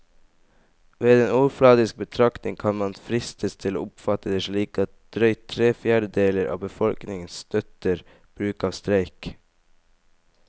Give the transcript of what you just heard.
Ved en overfladisk betraktning kan man fristes til å oppfatte det slik at drøyt tre fjerdedeler av befolkningen støtter bruk av streik.